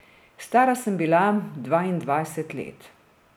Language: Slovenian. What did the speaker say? Stara sem bila dvaindvajset let.